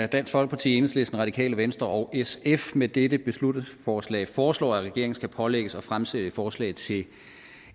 dansk folkeparti enhedslisten radikale venstre og sf med dette beslutningsforslag foreslår at regeringen skal pålægges at fremsætte forslag til